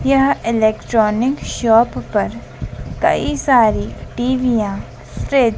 यह electronic shop पर कई सारी टीवीयां फ्रिज --